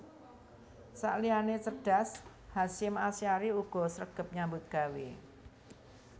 Sakliyane cerdas Hasyim Asyhari uga sregep nyambut gawe